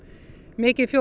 mikið